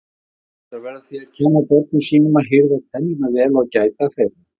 Foreldrar verða því að kenna börnum sínum að hirða tennurnar vel og gæta þeirra.